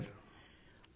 చెప్పండి సర్